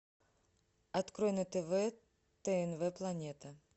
открой на тв тнв планета